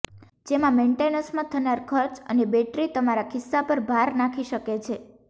જેમા મેંટેનેંસમાં થનાર ખર્ચ અને બેટરી તમારા ખિસ્સા પર ભાર નાખી શકે છે